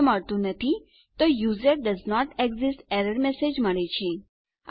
ઠીક છે તો મારી સાથે આવનારા ભાગમાં જોડાવો અને હું તમને બતાવીશ કે કેવી રીતે તમારા સેશનો સત્રો અને લોગ આઉટ પુષ્ઠ બનાવવા